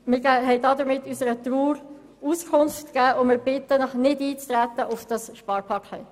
Wir haben damit unserer Trauer Ausdruck verliehen, und wir bitten Sie, auf das Sparpaket nicht einzutreten.